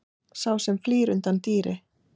Sá sem flýr undan dýri.